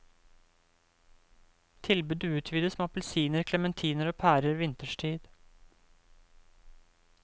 Tilbudet utvides med appelsiner, clementiner og pærer vinterstid.